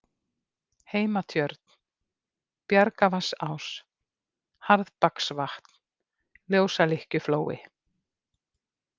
Heimatjörn, Bjargavatnsás, Harðbaksvatn, Ljósalykkjuflói